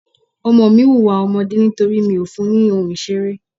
Ọmọ mi ń hùwà ọmọdé nítorí mi ò fún ní ohun ìṣeré.